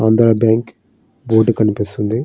Andhra bank board కనిపిస్తోంది.